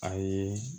A ye